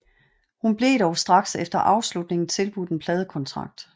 Hun blev dog straks efter afslutningen tilbudt en pladekontrakt